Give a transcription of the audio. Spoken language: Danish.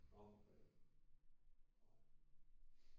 Nå for fanden nej